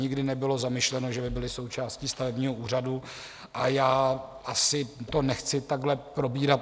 Nikdy nebylo zamýšleno, že by byli součástí stavebního úřadu, a já asi to nechci takhle probírat.